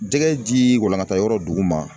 Jɛgɛ ji walakata yɔrɔ dugu ma